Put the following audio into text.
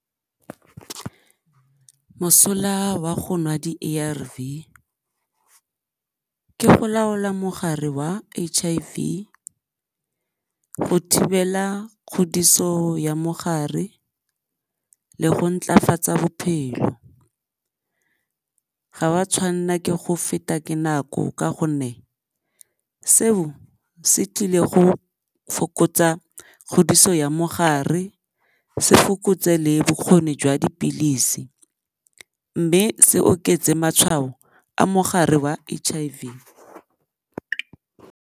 Mosola wa go nwa di-A_R_V ke go laola mogare wa H_I_V go thibela kgodiso ya mogare le go ntlafatsa bophelo, ga o a tshwanela ke go feta ke nako ka gonne seo se tlile go fokotsa kgodiso ya mogare se fokotse le bokgoni jwa dipilisi mme se oketse matshwao a mogare wa H_I_V.